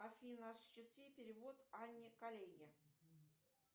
афина осуществи перевод анне коллеге